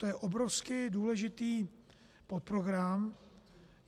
To je obrovsky důležitý podprogram.